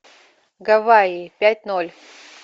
гавайи пять ноль